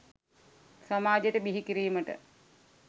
සමාජයට බිහි කිරීමට